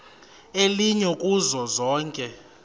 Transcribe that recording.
elinye kuzo zonke